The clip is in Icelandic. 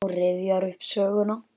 Hún rifjar upp söguna.